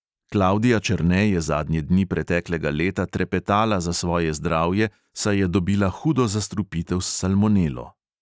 Klavdija černe je zadnje dni preteklega leta trepetala za svoje zdravje, saj je dobila hudo zastrupitev s salmonelo.